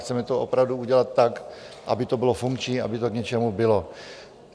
Chceme to opravdu udělat tak, aby to bylo funkční, aby to k něčemu bylo.